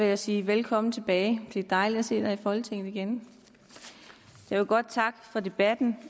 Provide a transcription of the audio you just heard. jeg sige velkommen tilbage det er dejligt at se dig i folketinget igen jeg vil godt takke for debatten